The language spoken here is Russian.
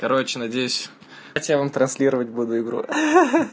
короче надеюсь хотя вам транслировать буду игру ха-ха-ха